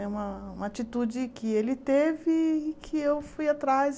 É uma uma atitude que ele teve e que eu fui atrás.